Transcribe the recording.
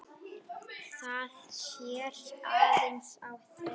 Það sér aðeins á þeim.